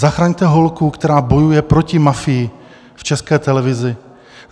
Zachraňte holku, která bojuje proti mafii v České televizi.